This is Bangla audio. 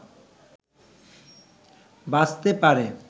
বাঁচতে পারে